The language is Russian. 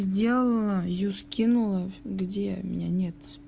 сделала её скинула где меня нет